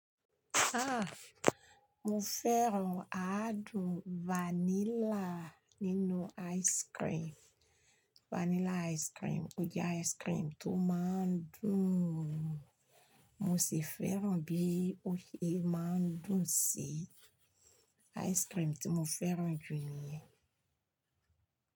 Ah! Mo fẹ́ràn àádùn vanilla nínú ice cream. Vanilla ice cream, ó jẹ́ ice cream tó máa ń dùn. Mo sì fẹ́ràn bí ó ṣe máa ń dùn sí ice cream tí mo fẹ́ràn jù níyì.